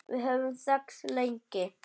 Við höfum þekkst lengi.